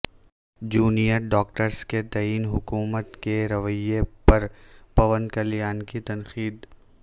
junior doctors کے تئیں حکومت کے رویہ پر پون کلیان کی تنقید